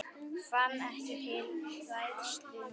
Fann ekki til hræðslu núna.